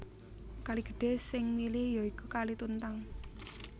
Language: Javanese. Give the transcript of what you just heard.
Kali gedhé sing mili ya iku Kali Tuntang